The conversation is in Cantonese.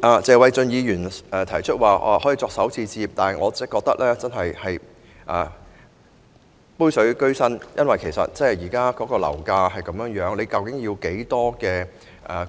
謝偉俊議員提出使用強積金作首次置業首期，但我覺得這是杯水車薪，因為以現時樓價水平，究竟要動用多少強積金才